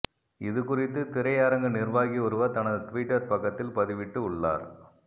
இது குறித்து திரை அரங்கு நிர்வாகி ஒருவர் தனது ட்விட்டர் பக்கத்தில் பதிவிட்டு உள்ளார்